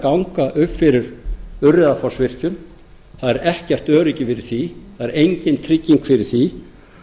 ganga upp fyrir urriðafossvirkjun það er ekkert öryggi fyrir því það er engin trygging fyrir því